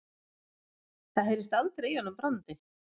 Það heyrðist aldrei í honum Brandi.